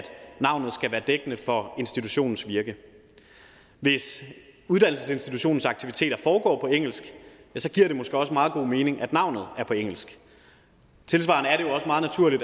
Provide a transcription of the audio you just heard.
navnet skal være dækkende for institutionens virke hvis uddannelsesinstitutionens aktiviteter foregår på engelsk giver det måske også meget god mening at navnet er på engelsk tilsvarende